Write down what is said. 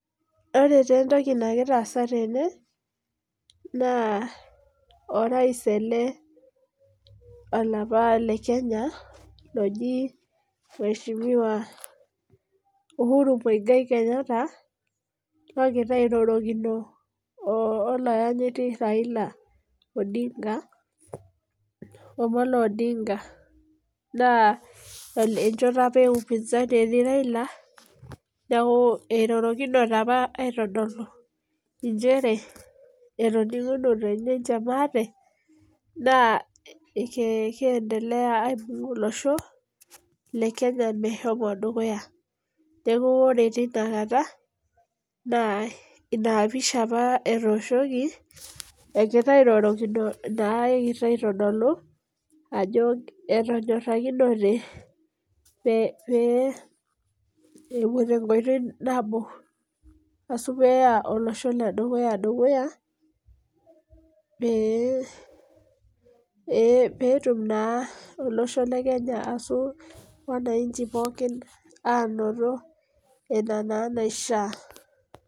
Ore taa entoki nagira aasa tene, naa orais ele olapa le Kenya, loji mheshimiwa Uhuru Muigai Kenyatta, logira airorokino olaanyiti Raila Odinga, Omolo Odinga. Naa enchoto apa e upinzani etii Raila, neeku irorokinote apa aitodolu injere, etoning'unote ninche maate, naa keendelea aitutum olosho, le Kenya meshomo dukuya. Neeku ore tinakata, naa inapisha apa etooshoki, ekira airorokino naa ekira aitodolu, ajo etonyorrakinote pee epuo tenkoitoi nabo. Asu peya olosho ledukuya dukuya, pee petum naa olosho le Kenya asu wananchi pookin anoto ina naa naishaa.